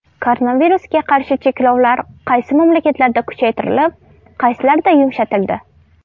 Koronavirusga qarshi cheklovlar qaysi mamlakatlarda kuchaytirilib, qaysilarida yumshatildi?